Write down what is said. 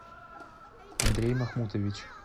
андрей махмутович